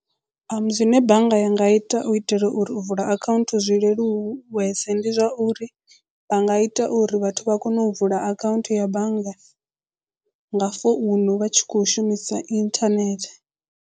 Zwine bannga ya nga ita u itela uri u vula account zwi leluwese ndi zwa uri vha nga ita uri vhathu vha kone u vula akhaunthu ya banngani nga founu vha tshi kho shumisa internet.